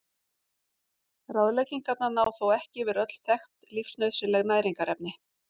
Ráðleggingarnar ná þó ekki yfir öll þekkt lífsnauðsynleg næringarefni.